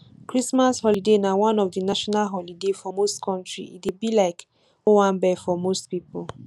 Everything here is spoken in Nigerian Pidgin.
christmas holiday na one of di national holiday for most countries e dey be like owanbe for most pipo